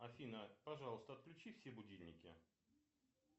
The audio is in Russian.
афина пожалуйста отключи все будильники